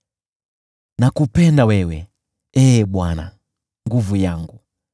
Nakupenda wewe, Ee Bwana , nguvu yangu.